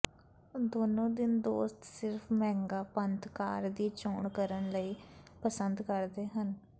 ਦੋਨੋ ਦਿਨ ਦੋਸਤ ਸਿਰਫ਼ ਮਹਿੰਗਾ ਪੰਥ ਕਾਰ ਦੀ ਚੋਣ ਕਰਨ ਲਈ ਪਸੰਦ ਕਰਦੇ ਹਨ